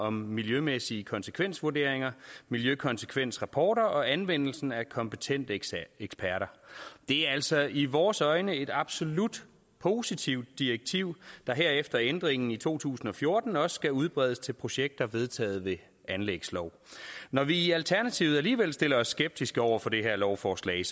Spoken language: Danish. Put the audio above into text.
om miljømæssige konsekvensvurderinger miljøkonsekvensrapporter og anvendelsen af kompetente eksperter det er altså i vores øjne et absolut positivt direktiv der her efter ændringen i to tusind og fjorten også skal udbredes til projekter vedtaget ved anlægslov når vi i alternativet alligevel stiller os skeptisk over for det her lovforslag